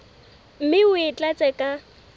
mme o e tlatse ka